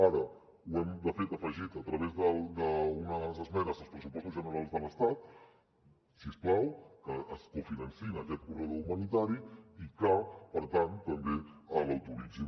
ara hem de fet afegit a través d’unes esmenes als pressupostos generals de l’estat si us plau que es cofinanci aquest corredor humanitari i que per tant també l’autoritzin